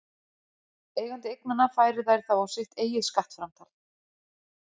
Eigandi eignanna færir þær þá á sitt eigið skattframtal.